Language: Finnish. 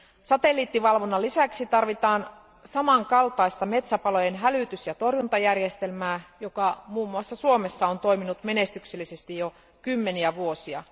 Satelliittivalvonnan lisäksi tarvitaan samankaltaista metsäpalojen hälytys ja torjuntajärjestelmää, joka esimerkiksi Suomessa on toiminut menestyksellisesti jo kymmeniä vuosia.